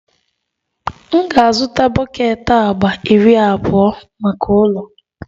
M ga-azụta bọket agba iri abụọ maka ụlọ